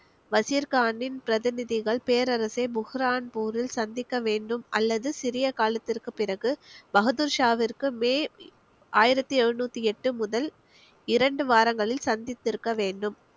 வசிர் கானின் பிரதிநிதிகள் பேரரசை புர்ஹான்பூரில் சந்திக்க வேண்டும் அல்லது சிறிய காலத்திற்கு பிறகு பகதூர்ஷாவிற்கு மே ஆயிரத்தி எழுநூத்தி எட்டு முதல் இரண்டு வாரங்களில் சந்தித்திருக்க வேண்டும்